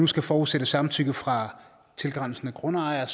skal forudsættes samtykke fra tilgrænsende grundejere